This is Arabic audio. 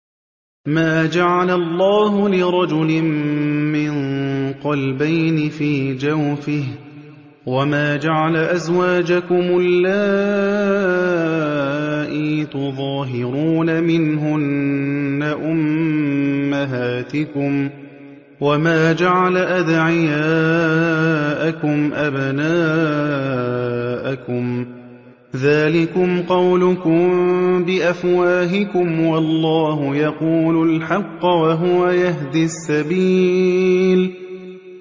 مَّا جَعَلَ اللَّهُ لِرَجُلٍ مِّن قَلْبَيْنِ فِي جَوْفِهِ ۚ وَمَا جَعَلَ أَزْوَاجَكُمُ اللَّائِي تُظَاهِرُونَ مِنْهُنَّ أُمَّهَاتِكُمْ ۚ وَمَا جَعَلَ أَدْعِيَاءَكُمْ أَبْنَاءَكُمْ ۚ ذَٰلِكُمْ قَوْلُكُم بِأَفْوَاهِكُمْ ۖ وَاللَّهُ يَقُولُ الْحَقَّ وَهُوَ يَهْدِي السَّبِيلَ